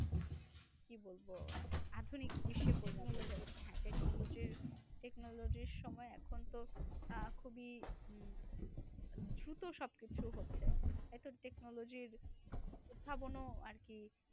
কি বলবো? আধুনিক বিশ্বে পরিণত হয়েছে। হ্যাঁ technology র technology র সময়ে এখন তো আহ খুবই দ্রুত সবকিছু হচ্ছে, তাইতো? technology র উদ্ভাবন আরকি